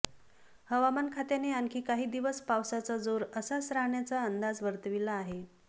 हवामान खात्याने आणखी काही दिवस पावसाचा जोर असाच राहण्याचा अंदाज वर्तविला आहे